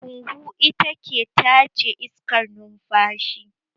Huhu ita ke tace iskar numfashi